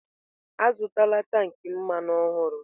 Azụtala tank mmanụ ọhụrụ!